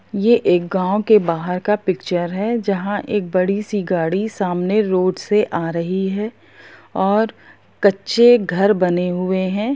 ये एक गांव के बाहर का पिक्चर है जहां एक बड़ी सी गाड़ी सामने रोड से आ रही है और कच्चे घर बने हुए हैं।